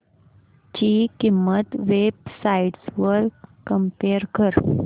ची किंमत web sites वर कम्पेअर कर